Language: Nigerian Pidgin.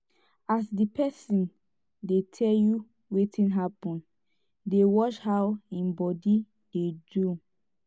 as di pesin dey tel yu wetin hapun dey watch how em body dey do